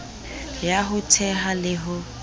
ya ho theha le ho